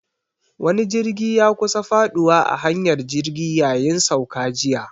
Wani jirgi ya kusa faduwa a hanyar jirgi yayin sauka jiya.